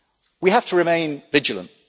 We have to remain vigilant.